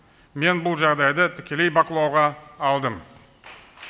мен бұл жағдайды тікелей бақылауға алдым